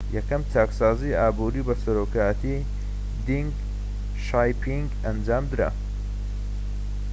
یەکەم چاکسازی ئابووری بە سەرۆکایەتی دینگ شیاپینگ ئەنجامدرا